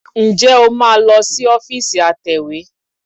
Ǹjẹ́ o máa lọ sí ọ́fíìsì atẹ̀wé?